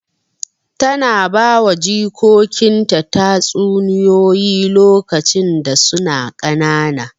Tana bawa jikokinta tatsuniyoyi lokacin da suna ƙanana.